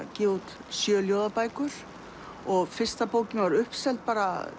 gefa út sjö ljóðabækur og fyrsta bókin var uppseld